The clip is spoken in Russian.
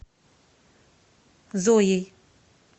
зоей